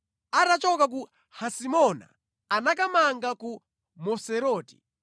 Atachoka ku Hasimona anakamanga ku Moseroti.